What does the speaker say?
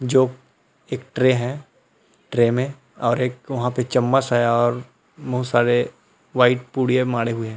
जो एक ट्रे है ट्रे मे और एक वहाँ पे चम्मच है और बहुत सारे वाइट पुड़िया माड़हे हुई हैं।